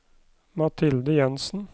Mathilde Jensen